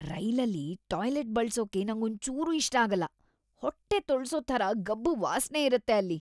ರೈಲಲ್ಲಿ ಟಾಯ್ಲೆಟ್ ಬಳ್ಸೋಕೆ ನಂಗೊಂಚೂರೂ ಇಷ್ಟ ಆಗಲ್ಲ.. ಹೊಟ್ಟೆ ತೊಳ್ಸೋ ಥರ ಗಬ್ಬು ವಾಸ್ನೆ ಇರತ್ತೆ ಅಲ್ಲಿ.